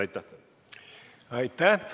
Aitäh!